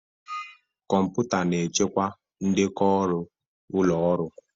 Kọmputa na-echekwa ndekọ ọrụ ụlọọrụ.